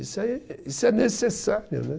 Isso aí, isso é necessário, né?